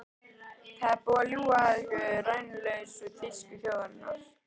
Það er búið að ljúga ykkur rænulausa um þýsku þjóðina.